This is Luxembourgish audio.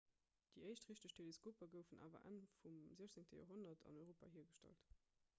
déi éischt richteg teleskoper goufen awer enn vum 16 joerhonnert an europa hiergestallt